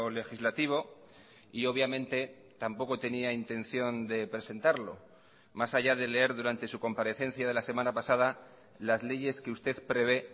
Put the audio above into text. legislativo y obviamente tampoco tenía intención de presentarlo más allá de leer durante su comparecencia de la semana pasada las leyes que usted prevé